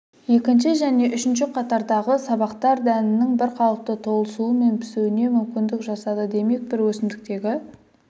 екінші және үшінші қатардағы сабақтар дәнінің бірқалыпты толысуы мен пісуіне мүмкіндік жасады демек бір өсімдіктегі